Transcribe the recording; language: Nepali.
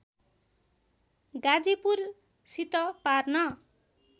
गाजीपुरसित पार्न